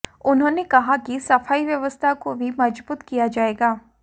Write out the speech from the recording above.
उन्होंने कहा कि सफाई व्यवस्था को भी मजबूत किया जाएगा